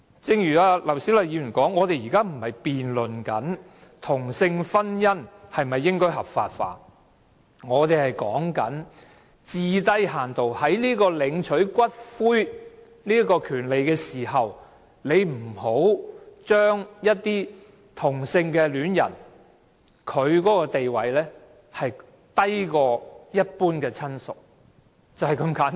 正如劉小麗議員所說，我們現在不是辯論同性婚姻應否合法化，而是討論領取骨灰的權利，最低限度不要把同性伴侶的地位降低至低於一般親屬，就是這般簡單。